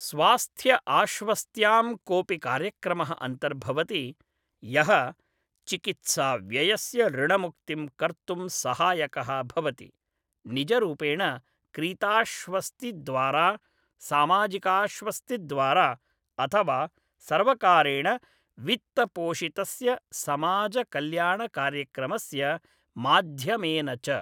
स्वास्थ्यआश्वस्त्यां कोपि कार्यक्रमः अन्तर्भवति यः चिकित्साव्ययस्य ऋणमुक्तिं कर्तुं सहायकः भवति, निजरूपेण क्रीताश्वस्तिद्वारा, सामाजिकाश्वस्तिद्वारा, अथवा सर्वकारेण वित्तपोषितस्य समाजकल्याणकार्यक्रमस्य माध्यमेन च।